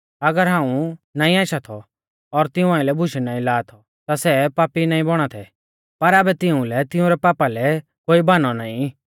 अगर हाऊं नाईं आशा थौ और तिऊं आइलै बुशै नाईं लाआ थौ ता सै पापी नाईं बौणा थै पर आबै तिउंलै तिंउरै पापा लै कोई बाहनौ नाईं